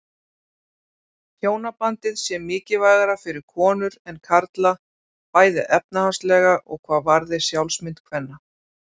Hjónabandið sé mikilvægara fyrir konur en karla bæði efnahagslega og hvað varði sjálfsmynd kvenna.